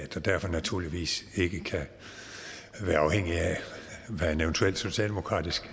derfor naturligvis ikke kan være afhængig af hvad en eventuel socialdemokratisk